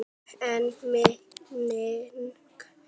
En minning hans mun lifa.